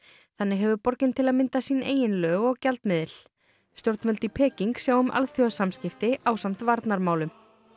þannig hefur borgin til að mynda sín eigin lög og gjaldmiðil stjórnvöld í Peking sjá um alþjóðasamskipti ásamt varnarmálum